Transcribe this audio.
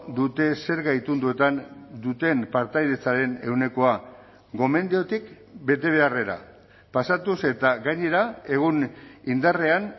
dute zerga itunduetan duten partaidetzaren ehunekoa gomendiotik betebeharrera pasatuz eta gainera egun indarrean